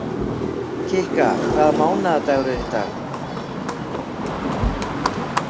Kikka, hvaða mánaðardagur er í dag?